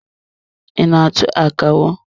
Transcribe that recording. I na-atụ akawo?